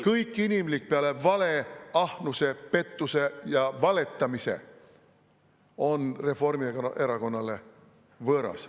Kõik inimlik peale vale, ahnuse, pettuse ja valetamise on Reformierakonnale võõras.